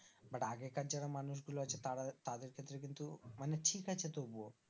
But আগেকার যারা মানুষ গুলো আছে তারা তাদের ক্ষেত্রে কিন্তু মানে ঠিক আছে তবুও